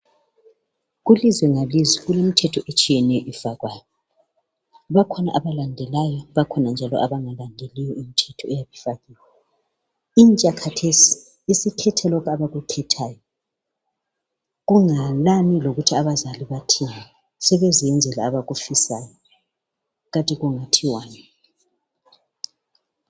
Kulizwe ngelizwe kulemithetho etshiyeneyo efakwayo. Bakhona abalandelayo, bakhona njalo abangalandeliyo imithetho eyabe ifakiwe. Intsha kathesi isikhethe lokhu abakukhethayo, kunganani lokuthi abazali bathini. Sebezenzela lokhu abakufisayo. Kanti kungathiwani!